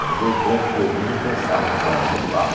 Eram dois brancos e dois negros e a gente dançava nos bailinhos igual.